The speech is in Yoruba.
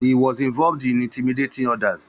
Ó ìåíÿ íåò íè ñ÷å÷åííÿ.